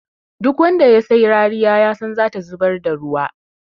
Duk wanda ya sai rariya yasan zata zubar da ruwa.